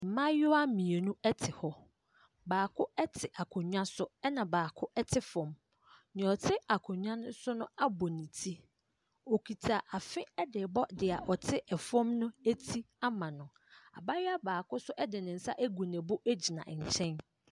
Mmaayewa mmienu te hɔ, baako te akonnwa so ɛna baako te fam. Deɛ ɔte akonnwa no so no abɔ ne ti, ɔkuta afe de rebɔ deɛ ɔte fam no ti ama no. Abaaayewa baako nso de ne nsa agu ne bo gyina nkyɛn.